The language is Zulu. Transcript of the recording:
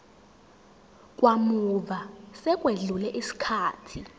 kamuva sekwedlule isikhathi